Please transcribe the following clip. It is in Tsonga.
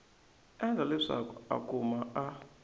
endla leswaku a kumeka a